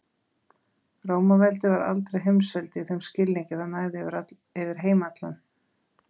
Rómaveldi var aldrei heimsveldi í þeim skilningi að það næði yfir heim allan.